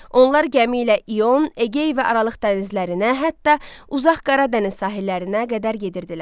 Onlar gəmi ilə İon, Egey və Aralıq dənizlərinə, hətta uzaq Qara dəniz sahillərinə qədər gedirdilər.